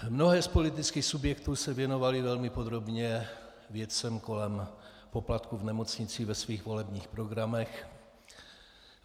Mnohé z politických subjektů se věnovaly velmi podrobně věcem kolem poplatků v nemocnicích ve svých volebních programech.